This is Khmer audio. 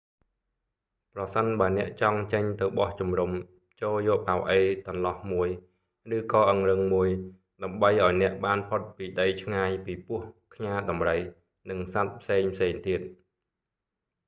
ប្រសិនបើអ្នកចង់ចេញទៅបោះជំរុំ ចូរយកប៉ៅអីតន្លោះមួយ ឬក៏អង្រឹងមួយដើម្បីឲ្យអ្នកបានផុតពីដីឆ្ងាយពីពស់ ខ្យាដំរី និងសត្វផ្សេងៗទៀត